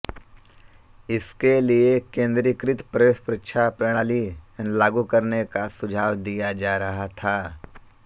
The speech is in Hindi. इसके लिए केंद्रीकृत प्रवेश परीक्षा प्रणाली लागू करने का सुझाव दिया जा रहा था